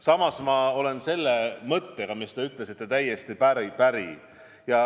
Samas ma olen selle mõttega, mis te ütlesite, täiesti päri.